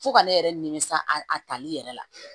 Fo ka ne yɛrɛ nimisi a tali yɛrɛ la